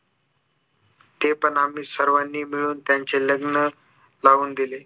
ते पण आम्ही सर्वांनी मिळून त्यांचे लग्न लावून दिले